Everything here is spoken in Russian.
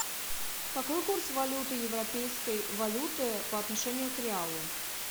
какой курс валюты европейской валюты по отношению к реалу